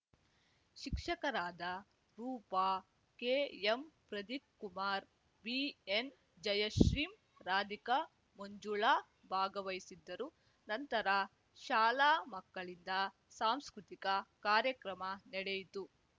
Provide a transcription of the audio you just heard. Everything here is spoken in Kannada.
ಶಿಕ್ಷಕರಾದ ರೂಪಾ ಕೆಎಂಪ್ರದೀಪಕುಮಾರ ಬಿಎನ್‌ಜಯಶ್ರೀ ರಾಧಿಕಾ ಮಂಜುಳಾ ಭಾಗವಹಿಸಿದ್ದರು ನಂತರ ಶಾಲಾ ಮಕ್ಕಳಿಂದ ಸಾಂಸ್ಕೃತಿಕ ಕಾರ್ಯಕ್ರಮ ನಡೆಯಿತು